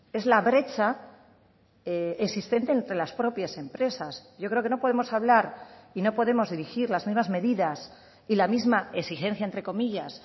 es la brecha existente entre las propias empresas yo creo que no podemos hablar y no podemos dirigir las mismas medidas y la misma exigencia entre comillas